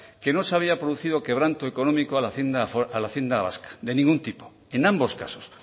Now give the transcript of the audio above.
que no se había producido quebranto económico a la hacienda vasca de ningún tipo en ambos casos